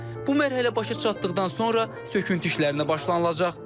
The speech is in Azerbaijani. Bu mərhələ başa çatdıqdan sonra söküntü işlərinə başlanılacaq.